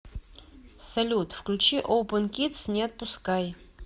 салют включи опэн кидс не отпускай